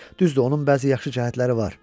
Düzdür, onun bəzi yaxşı cəhətləri var.